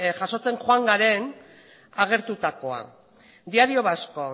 jasotzen joan garen agertutakoa diario vasco